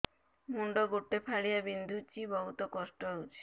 ମୁଣ୍ଡ ଗୋଟେ ଫାଳିଆ ବିନ୍ଧୁଚି ବହୁତ କଷ୍ଟ ହଉଚି